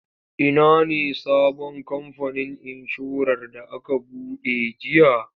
Ina ne sabon kamfanin inshorar da aka buɗe jiya?